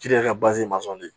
ka